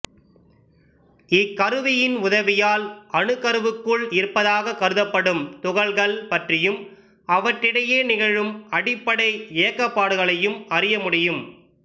இக்கருவியின் உதவியால் அணுக்கருவுக்குள் இருப்பதாகக் கருதப்படும் துககள் பற்றியும் அவற்றிடையே நிகழும் அடிப்படை இயக்கப்பாடுகளையும் அறிய முடியும்